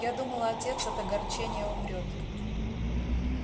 я думала отец от огорчения умрёт